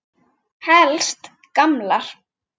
Helst gamlar.